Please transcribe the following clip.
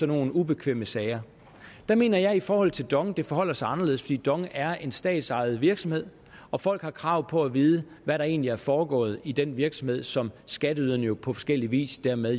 nogle ubekvemme sager der mener jeg i forhold til dong at det forholder sig anderledes fordi dong er en statsejet virksomhed og folk har krav på at vide hvad der egentlig er foregået i den virksomhed som skatteyderne jo på forskellig vis dermed